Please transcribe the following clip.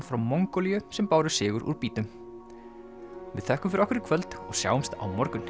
frá Mongólíu sem báru sigur úr býtum við þökkum fyrir okkur í kvöld og sjáumst á morgun